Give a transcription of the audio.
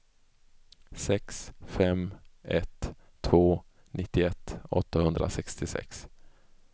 sex fem ett två nittioett åttahundrasextiosex